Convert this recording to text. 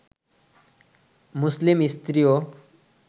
মুসলিম স্ত্রীও